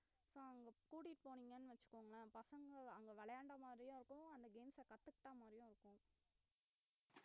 so அவுங்கள கூட்டிட்டு போனீங்கன்னு வச்சுகோங்க பசங்க அங்க விளையாண்ட மாதிரியும் இருக்கும் அந்த games அ கத்துகிட்ட மாதிரியும் இருக்கும்